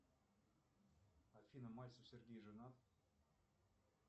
афина мальцев сергей женат